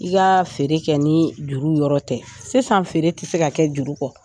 I ka feere kɛ ni juru yɔrɔ tɛ, sisan feere tɛ se ka kɛ juru kɔ.